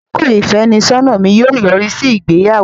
Àkókò ìfẹ́nisọ́nà mi yóò yọrí sí ìgbéyàwó.